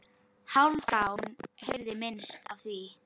Hálfdán heyrði minnst af því.